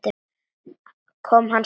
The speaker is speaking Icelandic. Kom hann seint?